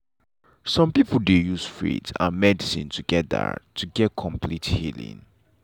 some people dey use faith and medicine together to get complete healing.